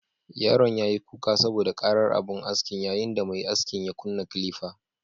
Yaron yayi kuka saboda ƙarar abun askin, yayin da mai askin ya kunna kilifa